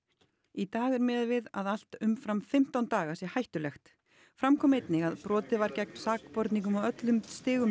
í dag er miðað við að allt umfram fimmtán daga sé hættulegt fram kom einnig að brotið var gegn sakborningum á öllum stigum